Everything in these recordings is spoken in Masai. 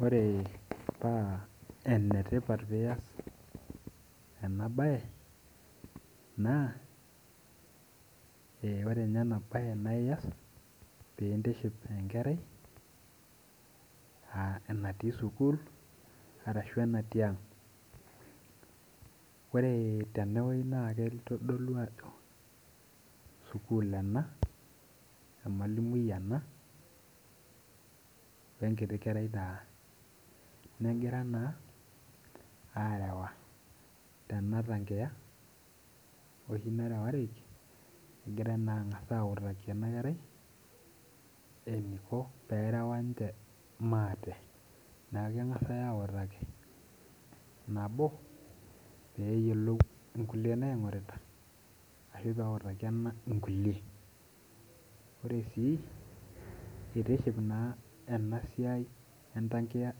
Ore paa enetipat pee iyas enabae naa enetipata ena bae pee iyas pee intiship enkerai natii sukul ashu enatii ang ,ore tene naa kitodolu ajo sukuulin ena ,emalimui ena wenkerai ,negira naa arewa teneweji oshi nerewareki egira autaki ena kerai eniko tenerewa ninche maate neeku kegasi autaki ,neeku kegasi autaki nabo pee eyiolou nkulie nareuta ashu pee eutaki ena nkulie .ore sii eitiship enatoki entakia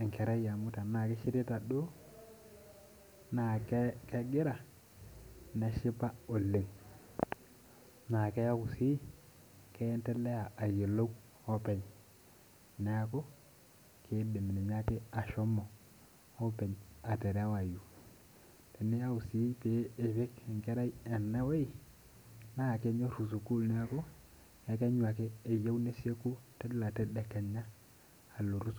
enkerai amu tenaa kishirita duo naa kegira neshipa oleng naa keendelea sii ayiolou openy ,neeku keidim ninye ashomo ake openy aterewayu ,tiniyau sii pee ipik enkerai eneweji naa kenyoru sukul neeku ekenyu ake eyieu neyeku Kila tedekenya alo sukul.